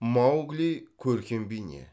маугли көркем бейне